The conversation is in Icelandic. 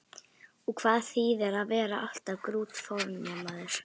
Og hvað þýðir að vera alltaf grútfornemaður?